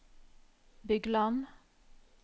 Bygland